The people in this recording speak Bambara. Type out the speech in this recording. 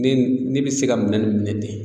Ne ne be se ka minɛn nuw minɛ ten